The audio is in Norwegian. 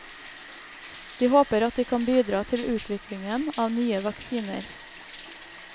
De håper at de kan bidra til utviklingen av nye vaksiner.